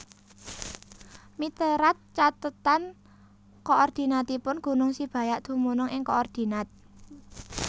Miterat cathetan koordinatipun gunung Sibayak dumunung ing koordinat